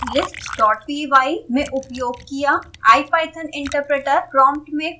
ipython interpreter prompt में code की प्रत्येक लाइन टाइप करें